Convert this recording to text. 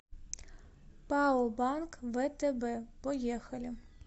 пао банк втб поехали